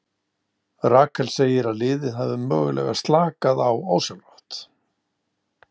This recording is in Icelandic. Rakel segir að liðið hafi mögulega slakað á ósjálfrátt.